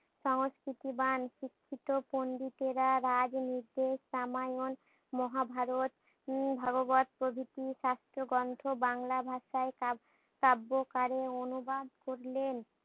সংস্কৃতবান শিক্ষিত পন্ডিতেরা রাজ নির্দেশ রামায়ণ মহাভারত উম ভগবৎ প্রবৃত্তির শাস্ত্র গ্রন্থ বাংলা ভাষায় কাব্য কারে অনুবাদ করলেন।